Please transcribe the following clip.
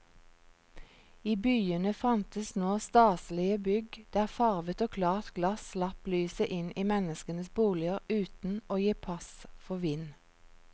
I byene fantes nå staselige bygg der farvet og klart glass slapp lyset inn i menneskenes boliger uten å gi pass for vind.